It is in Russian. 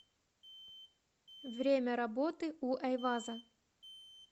время работы у эйваза